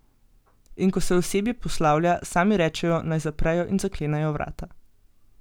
In ko se osebje poslavlja, sami rečejo, naj zaprejo in zaklenejo vrata.